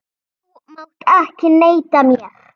Þú mátt ekki neita mér.